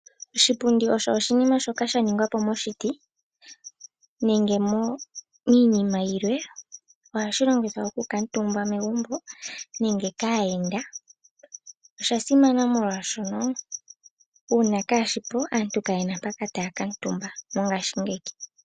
Oshipundi osho oshinima shoka sha ningwa po moshiti nenge miinima yilwe. Ohashi longithwa okukuutumbwa megumbo nge kaayenda. Osha simana molwaashoka uuna kaashipo aantu kayena mpoka taya kuutumba mongashingeyi.